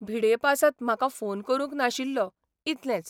भिडेपासत म्हाका फोन करूंक नाशिल्लो, इतलेंच.